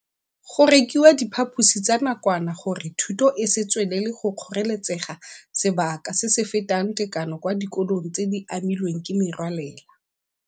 Go rekiwa diphaposi tsa nakwana gore thuto e se tswelele go kgoreletsega sebaka se se fetang tekano kwa dikolong tse di amilweng ke merwalela.